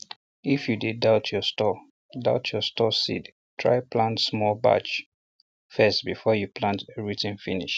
if you dey doubt your stored doubt your stored seeds try plant small batch first before you plant everything finish